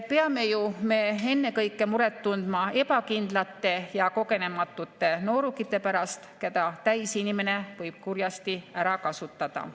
Peame ju me ennekõike muret tundma ebakindlate ja kogenematute noorukite pärast, keda täisinimene võib kurjasti ära kasutada.